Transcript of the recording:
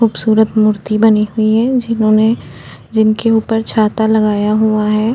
खूबसूरत मूर्ति बनी हुई है जिन्होंने जिसके ऊपर छाता लगाया हुआ है।